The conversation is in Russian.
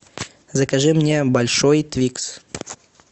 закажи мне большой твикс